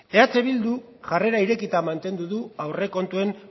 eh bilduk jarrera irekita mantendu du aurrekontuen